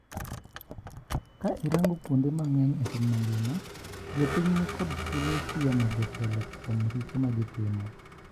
Ka irango kuonde mangeny epiny mangima ,jopiny ni kod thuolo siemo jotelo kuon richo magitimo.